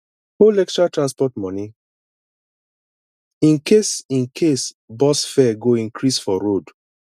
hold extra transport money in case in case bus fare go increase for road